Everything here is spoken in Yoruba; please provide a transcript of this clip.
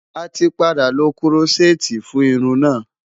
A ti padà lo Kúrọ́ṣẹ́ẹ́tì fún irun náà.